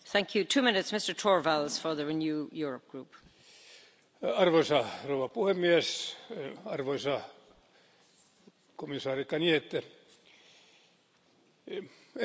Arvoisa puhemies, arvoisa komissaari Cañete, eurooppalainen metsä jaksaa välillä hyvin ja välillä aika huonosti.